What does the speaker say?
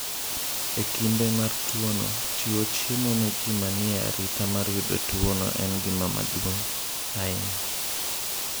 E kinde mar tuwono, chiwo chiemo ne ji ma ni e arita mar yudo tuwono en gima duong’ ahinya.